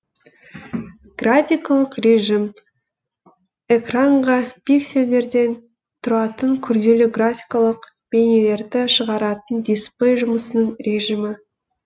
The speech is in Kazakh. графикалық режім экранға пиксельдерден тұратын күрделі графикалық бейнелерді шығаратын дисплей жұмысының режімі